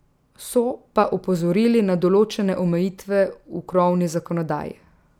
So pa opozorili na določene omejitve v krovni zakonodaji.